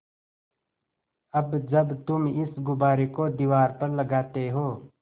अब जब तुम इस गुब्बारे को दीवार पर लगाते हो